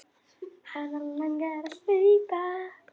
Hana langar að hlaupa.